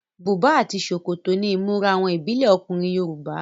Bùbá àti ṣòkòtò ni ìmúra àwọn ìbílẹ ọkùnrin Yorùbá.